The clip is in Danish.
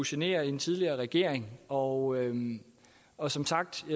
genere en tidligere regering og og som sagt